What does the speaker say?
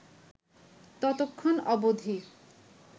ততক্ষণ অবধি